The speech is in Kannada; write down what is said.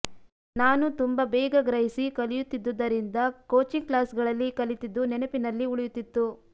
ನಾನು ತುಂಬಾ ಬೇಗ ಗ್ರಹಿಸಿ ಕಲಿಯುತ್ತಿದ್ದುದರಿಂದ ಕೋಚಿಂಗ್ ಕ್ಲಾಸ್ಗಳಲ್ಲಿ ಕಲಿತಿದ್ದು ನೆನಪಿನಲ್ಲಿ ಉಳಿಯುತ್ತಿತ್ತು